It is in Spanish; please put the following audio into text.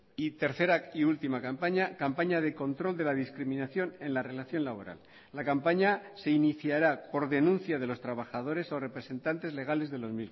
y tercera y última campaña campaña de control de la discriminación en la relación laboral la campaña se iniciará por denuncia de los trabajadores o representantes legales de los